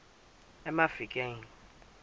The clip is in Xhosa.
emafikeng